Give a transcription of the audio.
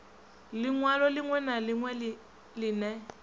linwalo linwe na linwe line